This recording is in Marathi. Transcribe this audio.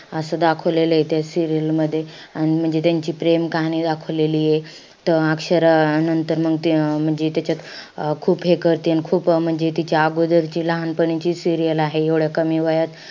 असं दाखवलेलंय त्या serial मध्ये. अन म्हणजे त्यांची प्रेम कहाणी दाखवलेलीय. त अक्षरा अन नंतर मंग ते म्हणजे त्याच्यात अं खूप हे करती. अन खूप म्हणजे तिच्या अगोदरची लहानपणीची serial आहे. एवढ्या कमी वयात,